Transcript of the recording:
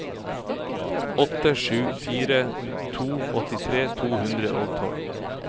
åtte sju fire to åttitre to hundre og tolv